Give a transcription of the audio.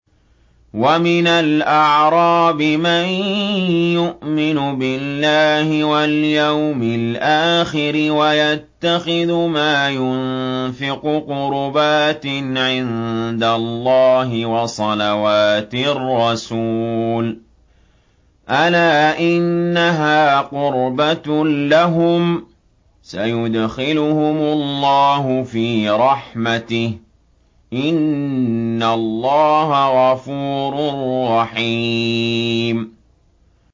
وَمِنَ الْأَعْرَابِ مَن يُؤْمِنُ بِاللَّهِ وَالْيَوْمِ الْآخِرِ وَيَتَّخِذُ مَا يُنفِقُ قُرُبَاتٍ عِندَ اللَّهِ وَصَلَوَاتِ الرَّسُولِ ۚ أَلَا إِنَّهَا قُرْبَةٌ لَّهُمْ ۚ سَيُدْخِلُهُمُ اللَّهُ فِي رَحْمَتِهِ ۗ إِنَّ اللَّهَ غَفُورٌ رَّحِيمٌ